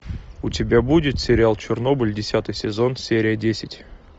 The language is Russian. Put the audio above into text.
у тебя будет сериал чернобыль десятый сезон серия десять